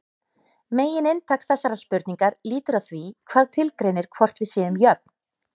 Megininntak þessarar spurningar lítur að því hvað tilgreinir hvort við séum jöfn.